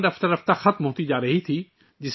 یہ زبان رفتہ رفتہ معدوم ہوتی جا رہی تھی